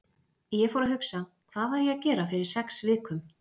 Ég fór að hugsa: Hvað var ég að gera fyrir sex vikum?